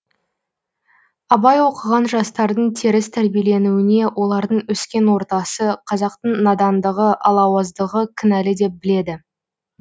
абай оқыған жастардың теріс тәрбиеленуіне олардың өскен ортасы қазақтың надандығы алауыздығы кінәлі деп біледі